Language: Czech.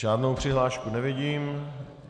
Žádnou přihlášku nevidím.